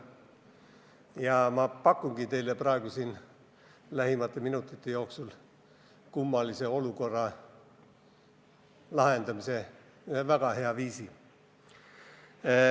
Ja ma pakungi teile praegu siin lähimate minutite jooksul selle kummalise olukorra lahendamiseks ühe väga hea viisi.